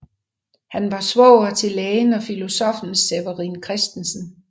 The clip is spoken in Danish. Han var svoger til lægen og filosoffen Severin Christensen